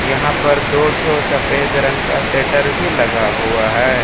यहां पर दो ठो सफेद रंग का शटर भी लगा हुआ है।